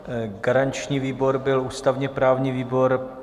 Garanční výbor byl ústavně-právní výbor.